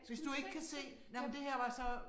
Hvis du ikke kan se nej men det her var så